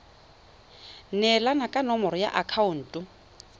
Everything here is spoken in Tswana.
neelana ka nomoro ya akhaonto